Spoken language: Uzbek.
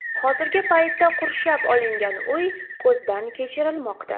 Hozirgi paytda qurshab olingan uy ko‘zdan kechirilmoqda.